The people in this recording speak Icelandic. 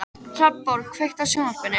Hrafnborg, kveiktu á sjónvarpinu.